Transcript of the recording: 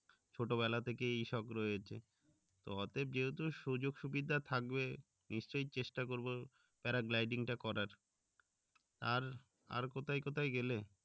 ছোট বেলা থেকে এই শখ রয়েছে তো অতএব যেহেতু সুযোগ সুবিধা থাকবে নিশ্চই চেষ্টা করবো paragliding টা করার আর কোথায় কোথায় গেলে